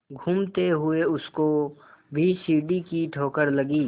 घूमते हुए उसको भी सीढ़ी की ठोकर लगी